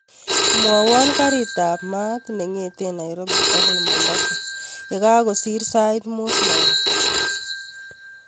Mwowon garit ab maat nengeten nairobi agoi mombasa yekakosir sait muut langat